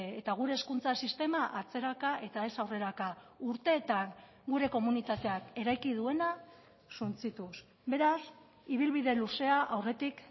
eta gure hezkuntza sistema atzeraka eta ez aurreraka urteetan gure komunitateak eraiki duena suntsituz beraz ibilbide luzea aurretik